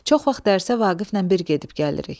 Çox vaxt dərsə Vaqiflə bir gedib-gəlirik.